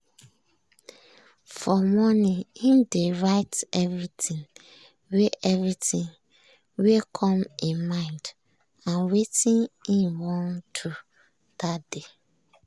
for morning im dey write everything wey everything wey come im mind and wetin im wan do that day.